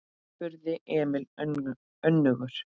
spurði Emil önugur.